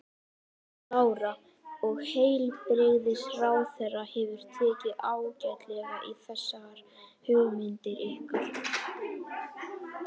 Lára: Og heilbrigðisráðherra hefur tekið ágætlega í þessar hugmyndir ykkar?